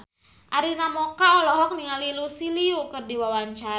Arina Mocca olohok ningali Lucy Liu keur diwawancara